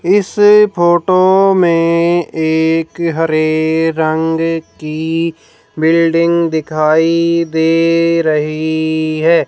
इस फोटो में एक हरे रंग की बिल्डिंग दिखाई दे रही है।